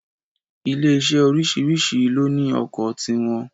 Ilé iṣé oríṣìríṣi ló ní ọkọ̀ ti wọn